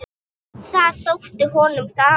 Það þótti honum gaman.